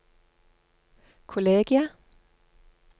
kollegiet